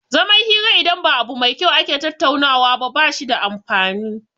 Zaman hira idan ba abu mai kyau ake tattaunawa ba bashi da amfani